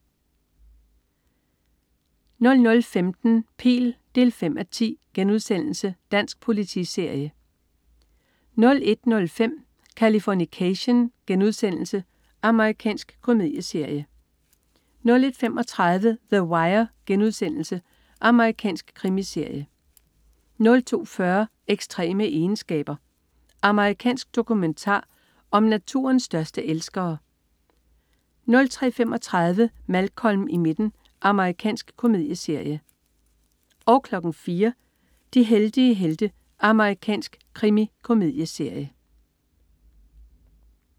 00.15 Pihl 5:10.* Dansk politiserie 01.05 Californication.* Amerikansk komedieserie 01.35 The Wire.* Amerikansk krimiserie 02.40 Ekstreme egenskaber. Amerikansk dokumentar om naturens største elskere 03.35 Malcolm i midten. Amerikansk komedieserie 04.00 De heldige helte. Amerikansk krimikomedieserie